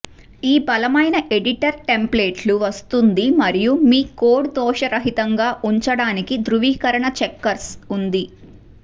ఈ బలమైన ఎడిటర్ టెంప్లేట్లు వస్తుంది మరియు మీ కోడ్ దోష రహితంగా ఉంచడానికి ధ్రువీకరణ చెక్కర్స్ ఉంది